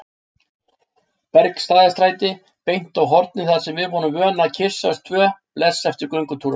Bergstaðastræti, beint á hornið þar sem við vorum vön að kyssast tvö bless eftir göngutúrana.